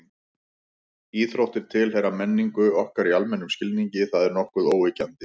Íþróttir tilheyra menningu okkar í almennum skilningi, það er nokkuð óyggjandi.